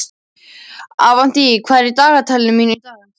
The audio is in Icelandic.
Avantí, hvað er í dagatalinu mínu í dag?